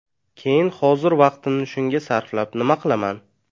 Keyin hozir vaqtimni shunga sarflab nima qilaman?